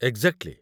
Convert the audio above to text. Exactly!